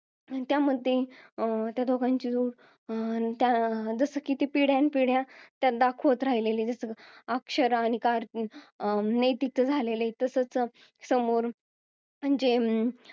त्या मध्ये अं त्या दोघांची जोडी अं जसं की किती पिढ्यान पिढ्या दाखवत राहिले अक्षरां कार्तिक अं नैतिक च झालेला आहे तसेच अं समोर